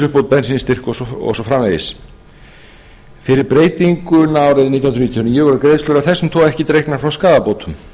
bensínstyrk og svo framvegis fyrir breytinguna árið nítján hundruð níutíu og níu voru greiðslur af þessum toga ekki dregnar frá skaðabótum